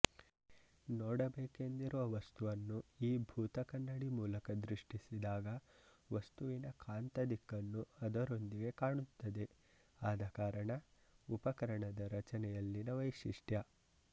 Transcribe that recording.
ನೋಡಬೇಕೆಂದಿರುವ ವಸ್ತುವನ್ನು ಈ ಭೂತಕನ್ನಡಿ ಮೂಲಕ ದೃಷ್ಟಿಸಿದಾಗ ವಸ್ತುವಿನ ಕಾಂತ ದಿಕ್ಕನ್ನು ಅದರೊಂದಿಗೇ ಕಾಣುತ್ತದೆಆದ ಕಾರಣ ಉಪಕರಣದ ರಚನೆಯಲ್ಲಿನ ವೈಶಿಷ್ಟ್ಯ